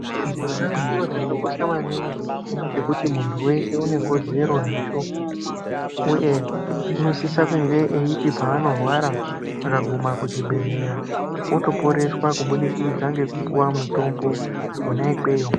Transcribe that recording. Utano chiro chaka kosha maningi chekuti muntu weshe une kodzero nacho uye unosisa kunge eiti paanorwara akaguma kuchi bhedhlera oto poreswa kubudikidza ngekupuwa mutombo kona ikweyo